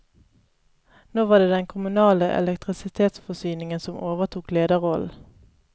Nå var det den kommunale elektrisitetsforsyning som overtok lederrollen.